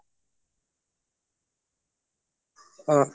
অ